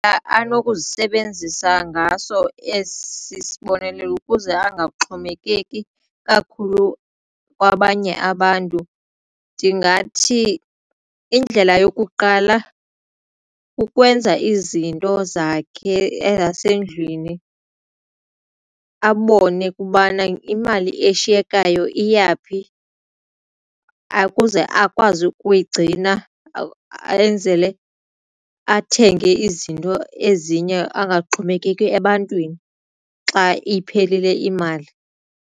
anokuzisebenzisa ngaso esi sibonelelo ukuze angaxhomekeki kakhulu kwabanye abantu ndingathi indlela yokuqala ukwenza izinto zakhe ezasendlwini abone ukubana imali eshiyekayo iyaphi ukuze akwazi ukuyigcina enzele athenge izinto ezinye angaxhomekeki ebantwini xa iphelile imali.